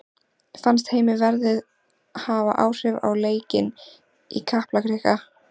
Fannst Heimi veðrið hafa áhrif á leikinn í Kaplakrika?